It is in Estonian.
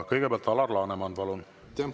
Kõigepealt Alar Laneman, palun!